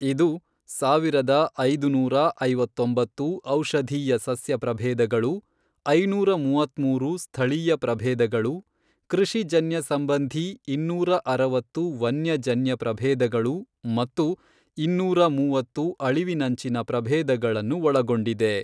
ಇದು, ಸಾವಿರದ ಐದುನೂರ ಐವತ್ತೊಂಬತ್ತು ಔಷಧೀಯ ಸಸ್ಯ ಪ್ರಭೇದಗಳು, ಐನೂರ ಮೂವತ್ಮೂರು ಸ್ಥಳೀಯ ಪ್ರಭೇದಗಳು, ಕೃಷಿಜನ್ಯ ಸಂಬಂಧೀ ಇನ್ನೂರ ಅರವತ್ತು ವನ್ಯಜನ್ಯ ಪ್ರಭೇದಗಳು ಮತ್ತು ಇನ್ನೂರ ಮೂವತ್ತು ಅಳಿವಿನಂಚಿನ ಪ್ರಭೇದಗಳನ್ನು ಒಳಗೊಂಡಿದೆ.